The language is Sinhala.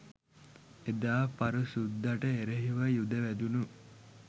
එදා පර සුද්දට එරෙහිව යුධ වැදුණු